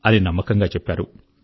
అని నమ్మకంగా చెప్పారు